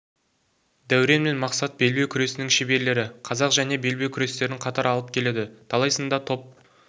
дәурен мен мақсат белбеу күресінің шеберлері қазақ және белбеу күрестерін қатар алып келеді талай сында топ